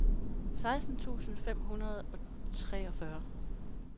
seksten tusind fem hundrede og treogfyrre